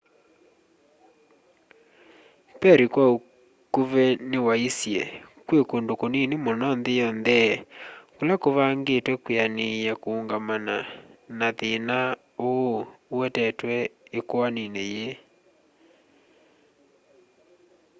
perry kwa ukuvi niwaisye kwi kundu kunini muno nthi yonthe kula kuvangitwe kwianiia kuungamana na thina uu uetetwe ikwanini ii